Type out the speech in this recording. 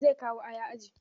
Zai kawo aya aji.